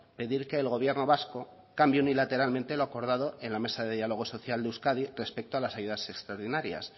pedir que el gobierno vasco cambie unilateralmente lo acordado en la mesa de diálogo social de euskadi respecto a las ayudas extraordinarias